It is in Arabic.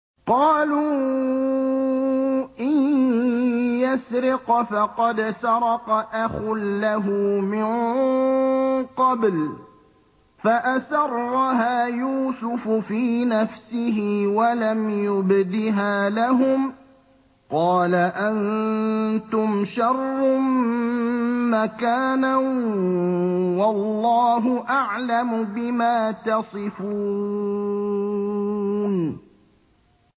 ۞ قَالُوا إِن يَسْرِقْ فَقَدْ سَرَقَ أَخٌ لَّهُ مِن قَبْلُ ۚ فَأَسَرَّهَا يُوسُفُ فِي نَفْسِهِ وَلَمْ يُبْدِهَا لَهُمْ ۚ قَالَ أَنتُمْ شَرٌّ مَّكَانًا ۖ وَاللَّهُ أَعْلَمُ بِمَا تَصِفُونَ